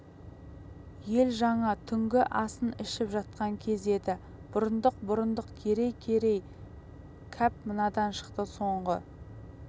ел жаңа түнгі асын ішіп жатқан кез еді бұрындық бұрындық керей керей кәп мынадан шықты соңғы